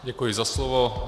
Děkuji za slovo.